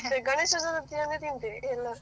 ಮತ್ತೆ ಗಣೇಶೋತ್ಸವ ದಿನ ತಿಂತೇವೆ ಎಲ್ಲರ್ಸಾ.